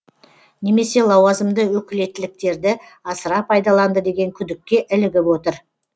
немесе лауазымды өкілеттіктерді асыра пайдаланды деген күдікке ілігіп отыр